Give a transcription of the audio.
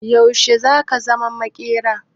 Yaushe zaka zama maƙera?